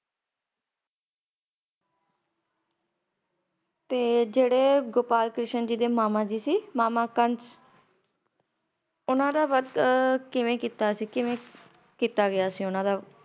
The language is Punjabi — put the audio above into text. ਤੇ ਜੇੜੇ ਗੋਪਾਲ ਕ੍ਰਿਸ਼ਨ ਜੀ ਦੇ ਮਾਮਾ ਜੀ ਸੀ ਮਾਮਾ ਕੰਸ ਉੰਨਾ ਦਾ ਵੱਧ ਆਹ ਕਿਵੇਂ ਕੀਤਾ ਸੀ? ਕਿਵੇਂ ਕਿੱਤਾ ਗਯਾ ਸੀ ਉੰਨਾ ਦਾ